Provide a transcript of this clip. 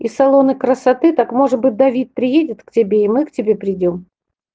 и салоны красоты так может быть давид приедет к тебе и мы к тебе придём